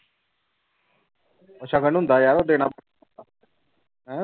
ਸਗਨ ਹੁੰਦਾ ਯਾਰ ਦੇਣਾ ਹੈਂ